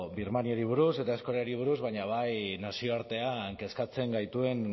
birmaniori buruz eta eskolari buruz baina bai nazioartean kezkatzen gaituen